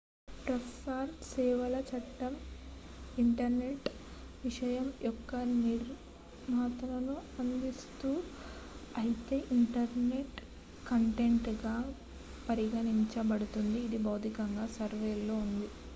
ప్రసార సేవల చట్టం ఇంటర్నెట్ విషయం యొక్క నియంత్రణను అందిస్తుంది అయితే ఇంటర్నెట్ కంటెంట్ గా పరిగణించబడుతుంది ఇది భౌతికంగా సర్వర్ లో ఉంటుంది